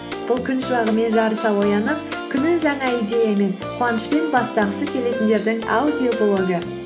бұл күн шуағымен жарыса оянып күнін жаңа идеямен қуанышпен бастағысы келетіндердің аудиоблогы